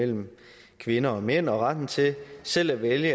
mellem kvinder og mænd og retten til selv at vælge det